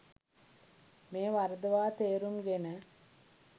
මෙය වරදවා තේරුම් ගෙන